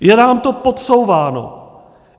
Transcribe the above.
Je nám to podsouváno.